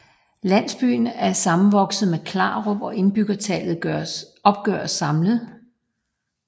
Landsbyen er sammenvokset med Klarup og indbyggertallet opgøres samlet